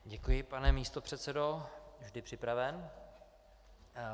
Děkuji, pane místopředsedo, vždy připraven.